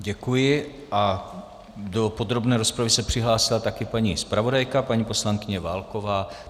Děkuji a do podrobné rozpravy se přihlásila také paní zpravodajka, paní poslankyně Válková.